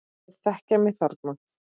Þeir þekkja mig þarna.